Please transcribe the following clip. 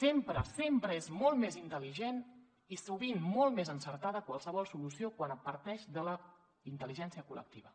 sempre sempre és molt més intel·ligent i sovint molt més encertada qualsevol solució quan parteix de la intel·ligència col·lectiva